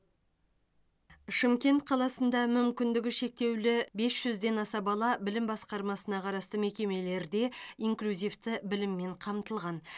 шымкент қаласында мүмкіндігі шектеулі бес жүзден аса бала білім басқармасына қарасты мекемелерде инклюзивті біліммен қамтылған